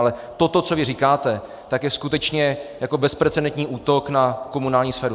Ale toto, co vy říkáte, tak je skutečně jako bezprecedentní útok na komunální sféru.